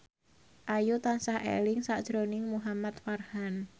Ayu tansah eling sakjroning Muhamad Farhan